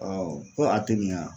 ko a tɛ nin ye ya.